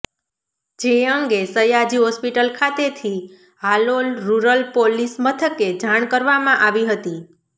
જે અંગે સયાજી હોસ્પિટલ ખાતે થી હાલોલ રૂરલ પોલીસ મથકે જાણ કરવામાં આવી હતી